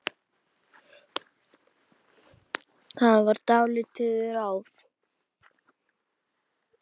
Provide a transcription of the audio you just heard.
Það var látið ráða.